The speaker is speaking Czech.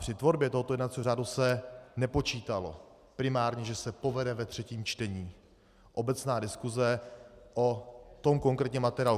Při tvorbě tohoto jednacího řádu se nepočítalo primárně, že se povede ve třetím čtení obecná diskuse o tom konkrétním materiálu.